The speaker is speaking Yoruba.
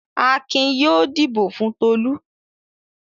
Akin yóò dìbò fún Tolú!